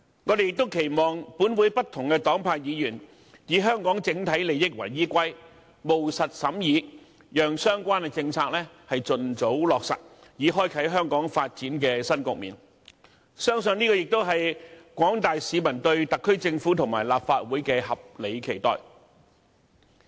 我們亦期望本會不同黨派議員以香港整體利益為依歸，務實審議，讓相關政策盡早落實，以開啟香港發展的新局面，相信這也是廣大市民對特區政府和立法會的合理期待。